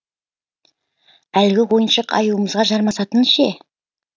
әлгі ойыншық аюымызға жармасатын ше